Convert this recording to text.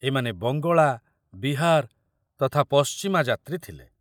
ଏମାନେ ବଙ୍ଗଳା, ବିହାର ତଥା ପଶ୍ଚିମା ଯାତ୍ରୀ ଥିଲେ।